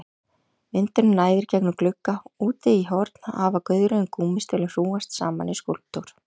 Vindurinn næðir gegnum glugga, úti í horni hafa gauðrifin gúmmístígvél hrúgast saman í skúlptúr.